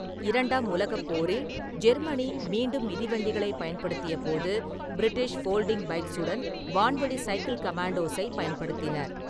இரண்டாம் உலகப் போரில் ஜெர்மனி மீண்டும் மிதிவண்டிகளைப் பயன்படுத்தியபோது, பிரிட்டிஷ் ஃபோல்டிங் பைக்ஸுடேன் வான்வழி 'சைக்கில்-கமேண்டோஸ்'-ஐப் பயன்படுத்தினர்.